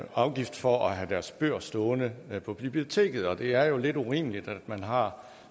afgift for at have deres bøger stående på biblioteket og det er jo lidt urimeligt at man man har